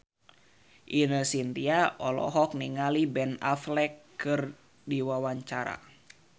Ine Shintya olohok ningali Ben Affleck keur diwawancara